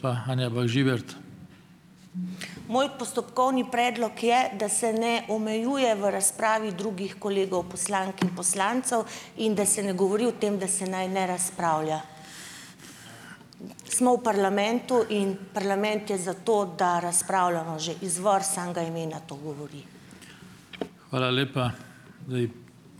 Moj postopkovni predlog je, da se ne omejuje v razpravi drugih kolegov poslank in poslancev in da se ne govori o tem, da se naj ne razpravlja. Smo v parlamentu, in parlament je za to, da razpravljamo. Že izvor samega imena to govori.